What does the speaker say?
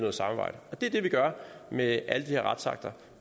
af samarbejdet det er det vi gør med alle de her retsakter